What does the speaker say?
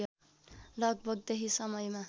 लगभग त्यही समयमा